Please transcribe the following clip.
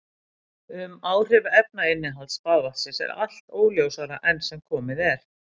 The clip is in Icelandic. Um áhrif efnainnihalds baðvatnsins er allt óljósara enn sem komið er.